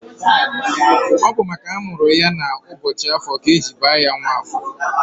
Ọ bụ makana amụrụ ya n'ụbọchị Afọ ka eji baa ya Nwafọ